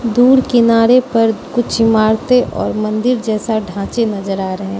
दूर किनारे पर कुछ इमारतें और मंदिर जैसा ढांचे नजर आ रहे --